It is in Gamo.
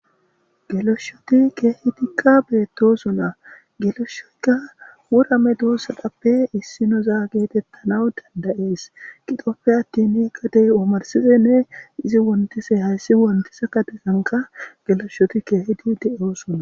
geloshshoti keehidikka beetto suna geloshsheyka wurame doos sadappe issinoza geetettana dandayees qixopfe attini kadey omarsidenne izi wontise hayssi wontisa kadetanka geloshshoti keehidi de7osona